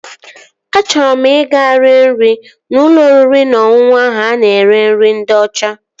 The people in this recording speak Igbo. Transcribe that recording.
Achọrọ m ị ga-rie nri n'ụlọ oriri na ọṅụṅụ ahụ a na-ere nri ndị ọcha